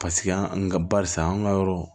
Paseke an ka barisa an ka yɔrɔ